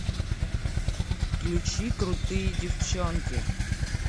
включи крутые девчонки